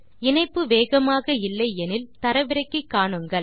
இணைப்பு வேகமாக இல்லை எனில் தரவிறக்கி காணுங்கள்